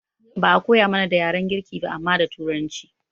Ba'a koya mana da yaren girki ba amma da turanci